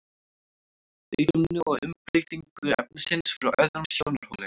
lítum nú á umbreytingu efnisins frá öðrum sjónarhóli